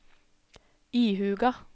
ihuga